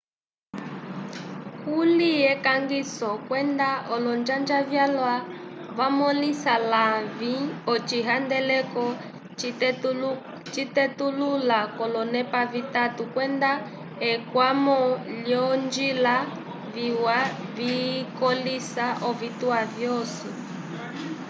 kuli ekangiso kwenda olonjanja vyalwa vamõlisa lavĩ ocihandeleko citetulula k'olonepa vitatu kwenda ekwamo lyolonjila viwa vikõlisa ovituwa vyosi